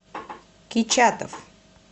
кичатов